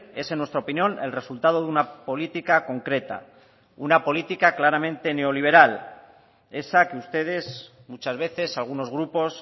es en nuestra opinión el resultado de una política concreta una política claramente neoliberal esa que ustedes muchas veces algunos grupos